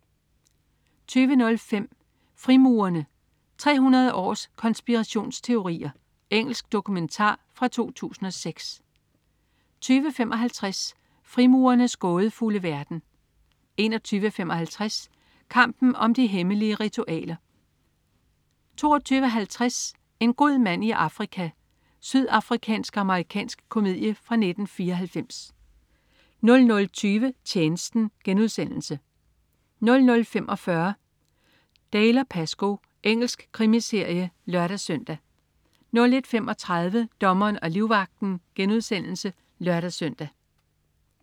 20.05 Frimurerne. 300 års konspirationsteorier. Engelsk dokumentar fra 2006 20.55 Frimurernes gådefulde verden 21.55 Kampen om de hemmelige ritualer 22.50 En god mand i Afrika. Sydafrikansk-amerikansk komedie fra 1994 00.20 Tjenesten* 00.45 Dalziel & Pascoe. Engelsk krimiserie (lør-søn) 01.35 Dommeren og livvagten* (lør-søn)